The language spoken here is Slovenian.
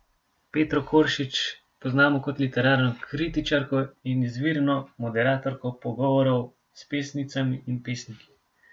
Petro Koršič poznamo kot literarno kritičarko in izvirno moderatorko pogovorov s pesnicami in pesniki.